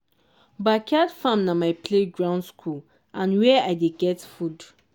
backyard farm na my play ground school and where i dey get food.